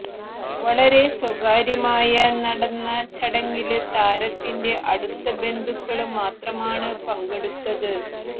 വളരെ സ്വകാര്യമായ നടന്ന ചടങ്ങില് താരത്തിന്റെ അടുത്ത ബന്ധുക്കള് മാത്രമാണ് പങ്കെടുത്തത്